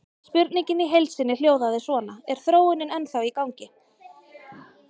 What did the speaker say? Spurningin í heild sinni hljóðaði svona: Er þróunin ennþá í gangi?